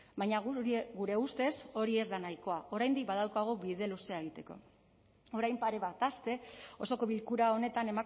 baina gure ustez hori ez da nahikoa oraindik badaukagu bide luzea egiteko orain pare bat aste osoko bilkura honetan